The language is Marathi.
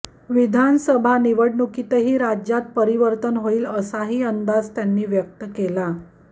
विधानसभा निवडणुकीतही राज्यात परिवर्तन होईल असाही अंदाज त्यांनी व्यक्त केला